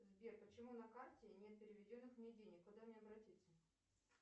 сбер почему на карте нет переведенных мне денег куда мне обратиться